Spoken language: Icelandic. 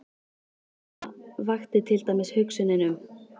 Hversvegna vakti til dæmis hugsunin um